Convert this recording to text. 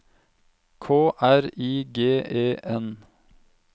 K R I G E N